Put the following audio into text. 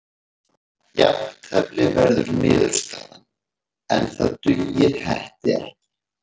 Jafntefli verður niðurstaðan en það dugar Hetti ekki.